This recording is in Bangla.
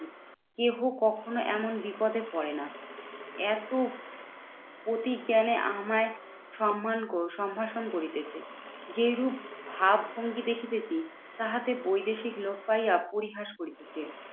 কেহ কখনো এমন বিপদে পরে না। এত পতি কেন আমায় সম্মান সম্ভাষণ করিতেছে? যেরূপ ভাবভঙ্গি দেখিতেছি তাহাতে বৈদেশিক লোক পাইয়া পরিহাস করিতেছে।